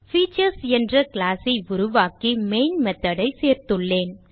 features என்ற class ஐ உருவாக்கி மெயின் method ஐ சேர்த்துள்ளேன்